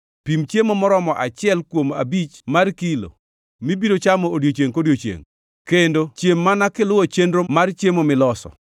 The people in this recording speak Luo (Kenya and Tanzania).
Pim chiemo moromo achiel kuom abich mar kilo mibiro chamo odiechiengʼ kodiechiengʼ, kendo chiem mana kiluwo chenro mar chiemo miloso.